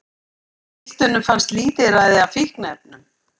Á piltunum fannst lítilræði af fíkniefnum